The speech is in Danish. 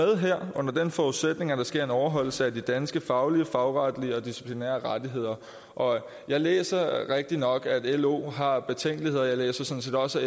det her under den forudsætning at der sker en overholdelse af de danske faglige faglige og disciplinære rettigheder jeg læser rigtignok at lo har betænkeligheder jeg læser sådan set også